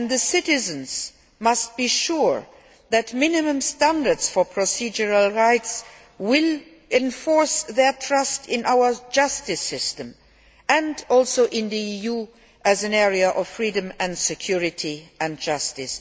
Citizens must be sure that minimum standards for procedural rights will enforce their trust in our justice system and also in the EU as an area of freedom and security and justice.